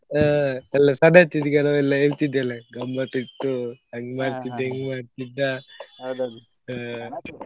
ಹಾ ಗಮ್ಮತ್ ಇತ್ತು ಅಂಗ್ ಮಾಡ್ತಿದ್ದೆ ಇಂಗ್ ಮಾಡ್ತಿದ್ದ ಹಾ.